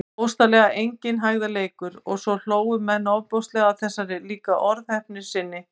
Og bókstaflega enginn hægðarleikur- og svo hlógu menn ofboðslega að þessari líka orðheppni sinni.